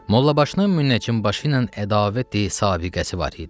Mollabaşının müəccim başı ilə ədavəti sabiğəsi var idi.